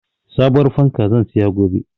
Sabuwar fanka zan siya gobe.